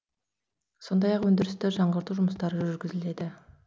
сондай ақ өндірісті жаңғырту жұмыстары жүргізіледі